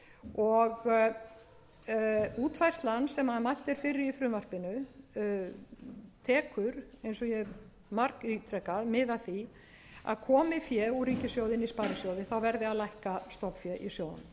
og útfærslan sem mælt er fyrir í frumvarpinu tekur eins og ég hef margítrekað mið af því að komi fé úr ríkissjóði inn í sparisjóðinn verði að lækka stofnfé í sjóðunum